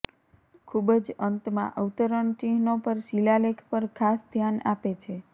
ખૂબ જ અંતમાં અવતરણ ચિહ્નો પર શિલાલેખ પર ખાસ ધ્યાન આપે છે